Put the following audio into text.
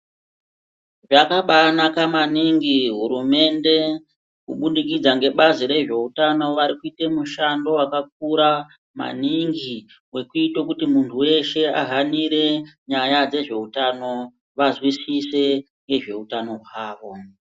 Yakabanaka maningi hurumende , kubudikidza ngebazi rezveutano vari kuita mishando yakakura maningi wekuita kuti muntu weshe ahanire nyaya dzezveutano vazwisise ngezveutano hwavo.